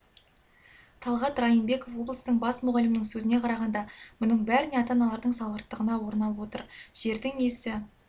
талғат райымбеков облыстың бас мұғалімінің сөзіне қарағанда мұның бәріне ата-аналардың салғырттығына орын алып отыр жердің иесі